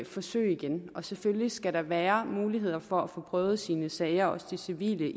forsøge igen og selvfølgelig skal der være muligheder for at få prøvet sine sager også de civile ved